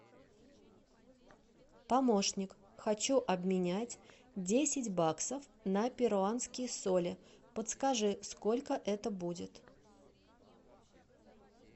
помощник хочу обменять десять баксов на перуанские соли подскажи сколько это будет